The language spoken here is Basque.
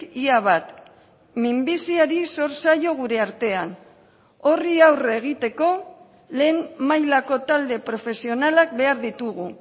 ia bat minbiziari zor zaio gure artean horri aurre egiteko lehen mailako talde profesionalak behar ditugu